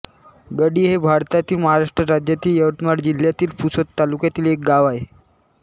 गडी हे भारतातील महाराष्ट्र राज्यातील यवतमाळ जिल्ह्यातील पुसद तालुक्यातील एक गाव आहे